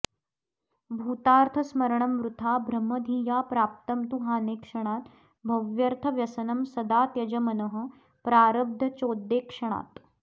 भूतार्थस्मरणं वृथा भ्रम धिया प्राप्तं तु हानेक्षणात् भव्यर्थव्यसनं सदा त्यज मनः प्रारब्धचोद्येक्षणात्